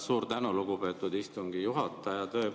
Suur tänu, lugupeetud istungi juhataja!